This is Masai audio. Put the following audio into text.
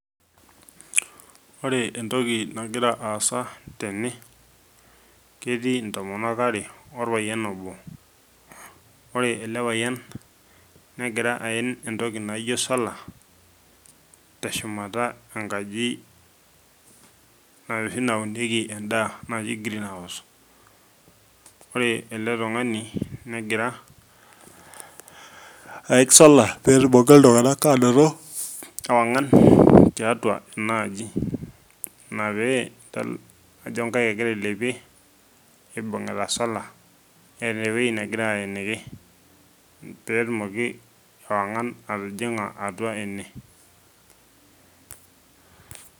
Ore entoki nagira aasa tene , ketii intomonok are , orpayian obo , ore elepayian negira aen entoki naijo solar teshumata enkaji enoshi naunieki endaa naji green house , ore eletungani aik solar petumoki iltunganak anoto ewangan tiatua enaaji inapee idol ajo inkaik egira ailepie nibungita solar neeta ewueji negira aeniki petumoki ewangan atijinga atua ene.